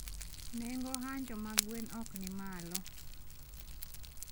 Nengo hanjo mag gwen okni malo